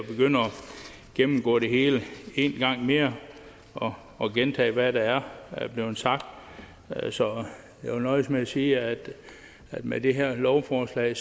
gennemgå det hele en gang mere og og gentage hvad der er blevet sagt så jeg vil nøjes med at sige at med det her lovforslag